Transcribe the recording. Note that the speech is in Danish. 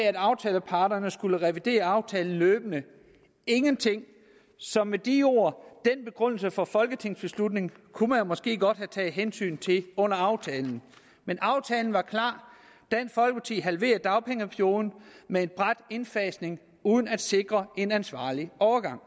at aftaleparterne skal revidere aftalen løbende ingenting så med de ord den begrundelse for en folketingsbeslutning kunne man måske godt have taget hensyn til under aftalen men aftalen var klar dansk folkeparti halverede dagpengeperioden med en brat indfasning uden at sikre en ansvarlig overgang